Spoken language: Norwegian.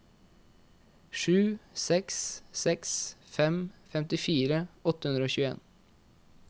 sju seks seks fem femtifire åtte hundre og tjueen